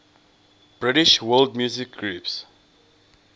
british world music groups